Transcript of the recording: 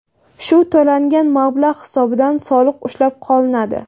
Shu to‘langan mablag‘ hisobida soliq ushlab qolinadi.